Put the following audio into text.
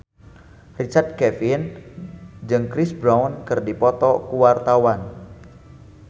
Richard Kevin jeung Chris Brown keur dipoto ku wartawan